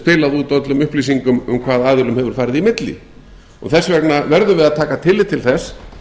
spilað út öllum upplýsingum um hvað aðilum hefur farið í milli þess vegna verðum við að taka tillit til þess